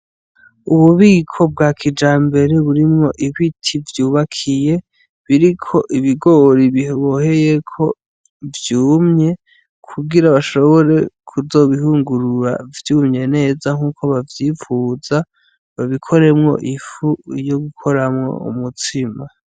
Ububiko bwa kijambere burimwo ibiti vyubakiye, biriko ibigori biboheyeko, vyumye kugira bashobore kuzobihungurura vyumye neza nk'uko bavyifuza, babikoremwo ifu yo gukoramo umutsima.